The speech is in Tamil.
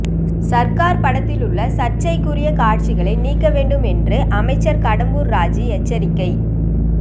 சர்கார் படத்தில் உள்ள சர்ச்சைக்குரிய காட்சிகளை நீக்க வேண்டும் என்று அமைச்சர் கடம்பூர் ராஜூ எச்சரிக்கை